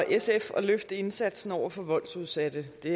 sf at løfte indsatsen over for voldsudsatte det